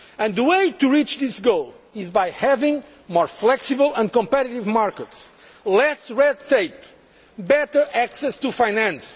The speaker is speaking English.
The way to reach this goal is by having more flexible and competitive markets, less red tape and better access to finance.